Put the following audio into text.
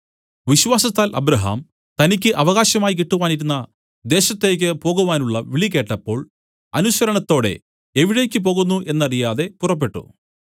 വിശ്വാസത്താൽ അബ്രാഹാം തനിക്കു അവകാശമായി കിട്ടുവാനിരുന്ന ദേശത്തേക്ക് പോകുവാനുള്ള വിളികേട്ടപ്പോൾ അനുസരണത്തോടെ എവിടേക്ക് പോകുന്നു എന്നറിയാതെ പുറപ്പെട്ടു